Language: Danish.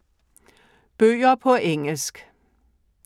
Bøger på engelsk